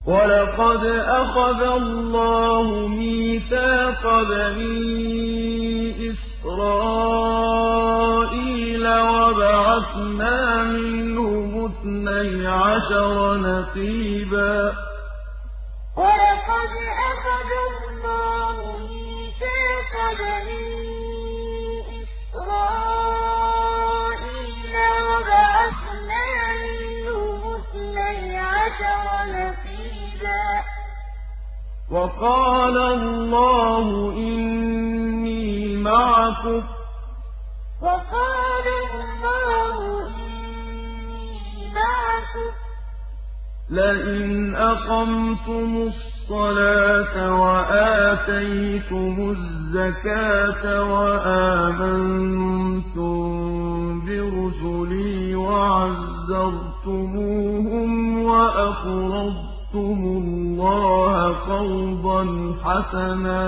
۞ وَلَقَدْ أَخَذَ اللَّهُ مِيثَاقَ بَنِي إِسْرَائِيلَ وَبَعَثْنَا مِنْهُمُ اثْنَيْ عَشَرَ نَقِيبًا ۖ وَقَالَ اللَّهُ إِنِّي مَعَكُمْ ۖ لَئِنْ أَقَمْتُمُ الصَّلَاةَ وَآتَيْتُمُ الزَّكَاةَ وَآمَنتُم بِرُسُلِي وَعَزَّرْتُمُوهُمْ وَأَقْرَضْتُمُ اللَّهَ قَرْضًا حَسَنًا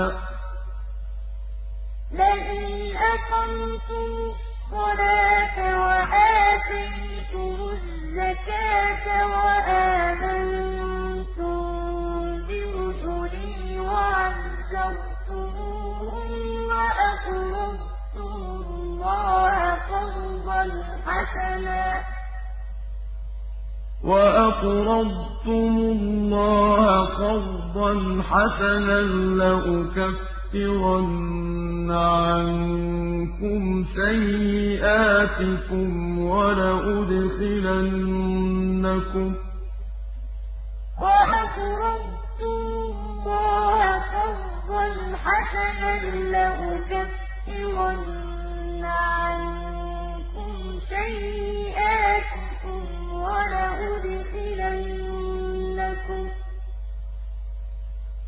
لَّأُكَفِّرَنَّ عَنكُمْ سَيِّئَاتِكُمْ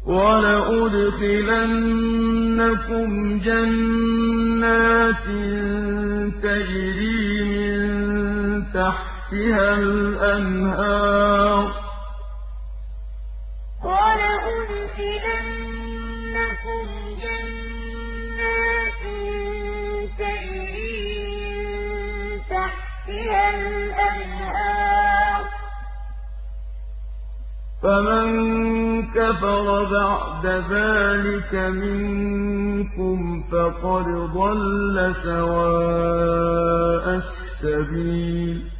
وَلَأُدْخِلَنَّكُمْ جَنَّاتٍ تَجْرِي مِن تَحْتِهَا الْأَنْهَارُ ۚ فَمَن كَفَرَ بَعْدَ ذَٰلِكَ مِنكُمْ فَقَدْ ضَلَّ سَوَاءَ السَّبِيلِ ۞ وَلَقَدْ أَخَذَ اللَّهُ مِيثَاقَ بَنِي إِسْرَائِيلَ وَبَعَثْنَا مِنْهُمُ اثْنَيْ عَشَرَ نَقِيبًا ۖ وَقَالَ اللَّهُ إِنِّي مَعَكُمْ ۖ لَئِنْ أَقَمْتُمُ الصَّلَاةَ وَآتَيْتُمُ الزَّكَاةَ وَآمَنتُم بِرُسُلِي وَعَزَّرْتُمُوهُمْ وَأَقْرَضْتُمُ اللَّهَ قَرْضًا حَسَنًا لَّأُكَفِّرَنَّ عَنكُمْ سَيِّئَاتِكُمْ وَلَأُدْخِلَنَّكُمْ جَنَّاتٍ تَجْرِي مِن تَحْتِهَا الْأَنْهَارُ ۚ فَمَن كَفَرَ بَعْدَ ذَٰلِكَ مِنكُمْ فَقَدْ ضَلَّ سَوَاءَ السَّبِيلِ